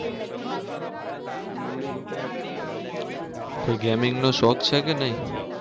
કોઈ gaming નો શોખ છે કે નહિ?